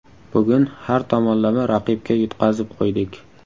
Bugun har tomonlama raqibga yutqazib qo‘ydik.